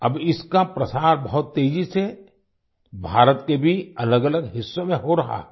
अब इसका प्रसार बहुत तेजी से भारत के भी अलगअलग हिस्सों में हो रहा है